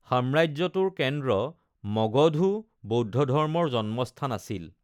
সাম্ৰাজ্যটোৰ কেন্দ্ৰ, মগধও বৌদ্ধ ধৰ্মৰ জন্মস্থান আছিল।